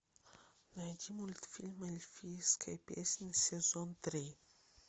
найди мультфильм эльфийская песня сезон три